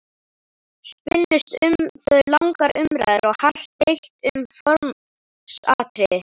Spunnust um þau langar umræður og hart deilt um formsatriði.